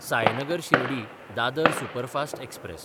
Sainagar Shirdi Dadar superfast express